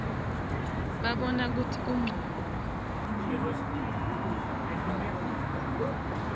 babona kutsi kuncono